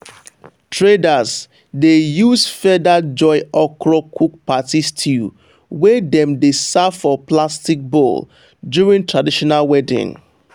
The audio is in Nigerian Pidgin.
traders dey use feather joy okra cook party stew wey dem dey serve for plastic bowl during traditional wedding.